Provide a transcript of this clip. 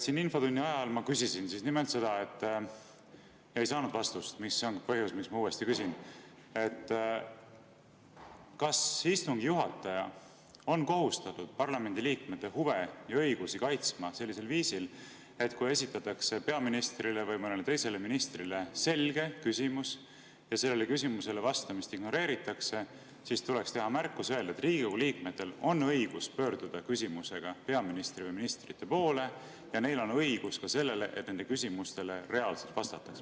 Infotunni ajal ma küsisin nimelt seda – ja ei saanud vastust, see on ka põhjus, miks ma uuesti küsin –, kas istungi juhataja on kohustatud parlamendiliikmete huve ja õigusi kaitsma sellisel viisil, et kui peaministrile või mõnele teisele ministrile esitatakse selge küsimus ja sellele küsimusele vastamist ignoreeritakse, siis teeb märkuse ja ütleb, et Riigikogu liikmetel on õigus pöörduda küsimusega peaministri või ministrite poole ja neil on õigus ka sellele, et nende küsimustele reaalselt vastataks.